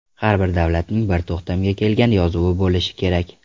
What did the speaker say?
Har bir davlatning bir to‘xtamga kelgan yozuvi bo‘lishi kerak.